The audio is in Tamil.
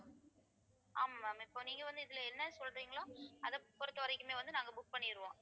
ஆமா ma'am இப்போ நீங்க வந்து இதிலே என்ன சொல்றீங்களோ அதை பொறுத்தவரைக்குமே வந்து நாங்க book பண்ணிடுவோம்